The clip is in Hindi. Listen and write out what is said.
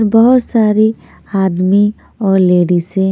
बहोत सारी आदमी और लेडीजे --